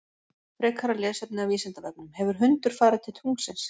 Frekara lesefni af Vísindavefnum: Hefur hundur farið til tunglsins?